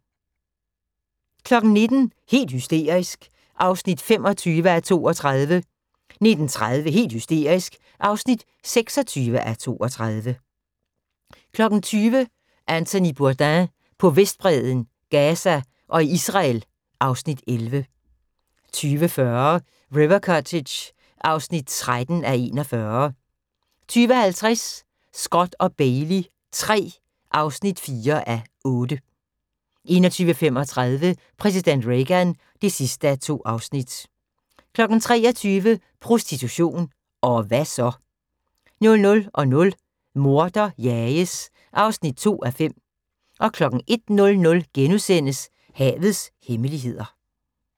19:00: Helt hysterisk (25:32) 19:30: Helt hysterisk (26:32) 20:00: Anthony Bourdain på Vestbredden, Gaza og i Israel (Afs. 11) 20:40: River Cottage (13:41) 20:50: Scott & Bailey III (4:8) 21:35: Præsident Reagan (2:2) 23:00: Prostitution – og hva' så? 00:00: Morder jages (2:5) 01:00: Havets hemmeligheder *